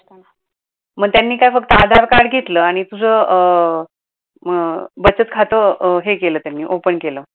मग त्यांनी काय फक्त आधार card घेतल आणि तुझ अं बचत खात हे केलं त्यांनी open केलं